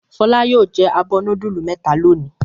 Fọlá yóò jẹ abọ́ núdúlù mẹ́ta lónìí.